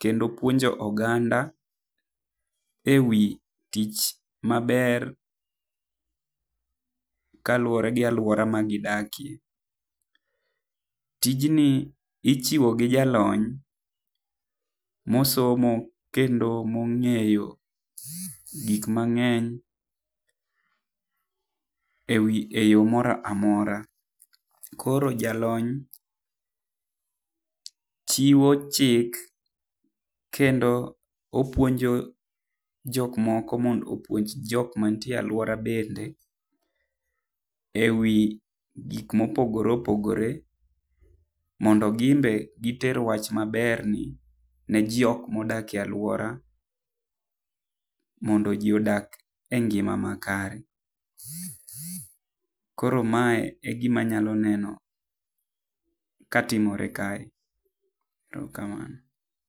kendo puonjo oganda ewi tich maber kaluwore gi aluora ma gidakie. Tijni ichiwo gi jalony mosomo kendo mong'eyo gik mang'eny e yo moro amora. Koro jalony chiwo chik kendo opuonjo jok moko mondo opuonj jok mantie e alwora bende ewi gik mopogoreopogore mondo ginbe giter wach maberni ne jok modak e alwora mondo ji odak e ngima makare. Koro mae e gima anyalo neno ka timore kae.